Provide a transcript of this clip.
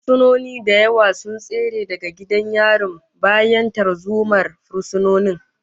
Fursunoni da yawa sun tsere daga gidan yarin bayan tarzomar fursunonin